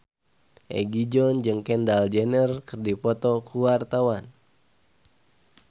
Egi John jeung Kendall Jenner keur dipoto ku wartawan